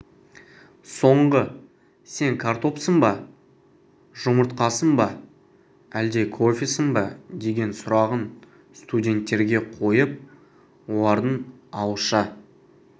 соңғы сен картопсың ба жұмытрқасың ба әлде кофесің ба деген сұрағын студенттерге қойып олардың ауызша